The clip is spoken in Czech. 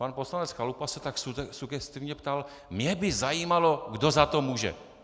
Pan poslanec Chalupa se tak sugestivně ptal: "Mě by zajímalo, kdo za to může."